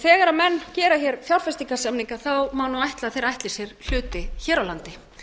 þegar menn gera hér fjárfestingarsamninga má nú ætla að þeir ætli sér hluti hér á landi